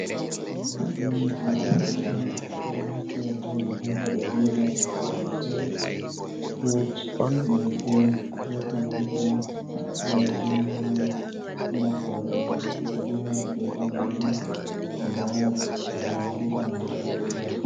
Ɗo hoto je bilenda. Ɓe ɗo naftira be bilenda ɓe dirɓa tattasai, fut, nyebbe, be konandi mai. Nda bilenda mai maɓɓode mai bulu be daneejum, nda chaka ma bo bana gilas-gilas ni.